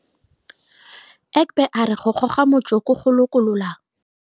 Egbe a re go goga motsoko go lokolola.